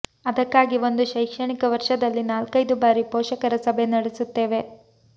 ಅದಕ್ಕಾಗಿ ಒಂದು ಶೈಕ್ಷಣಿಕ ವರ್ಷದಲ್ಲಿ ನಾಲ್ಕೈದು ಬಾರಿ ಪೋಷಕರ ಸಭೆ ನಡೆಸುತ್ತೇವೆ